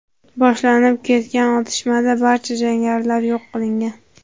boshlanib ketgan otishmada barcha jangarilar yo‘q qilingan.